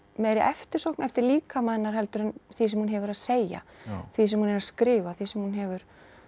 meiri eftirsókn eftir líkama hennar heldur en því sem hún hefur að segja því sem hún er að skrifa því sem hún hefur